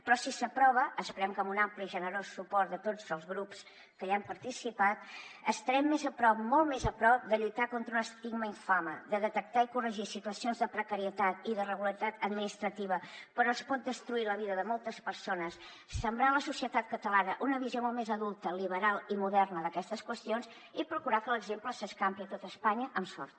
però si s’aprova esperem que amb un ampli i generós suport de tots els grups que hi han participat estarem més a prop molt més a prop de lluitar contra un estigma infame de detectar i corregir situacions de precarietat i d’irregularitat administrativa per on es pot destruir la vida de moltes persones sembrar a la societat catalana una visió molt més adulta liberal i moderna d’aquestes qüestions i procurar que l’exemple s’escampi a tot espanya amb sort